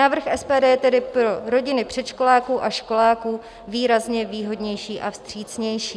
Návrh SPD je tedy pro rodiny předškoláků a školáků výrazně výhodnější a vstřícnější.